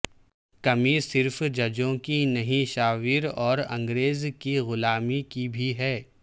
کمی صرف ججوں کی نہیں شعور اور انگریز کی غلامی کی بھی ہے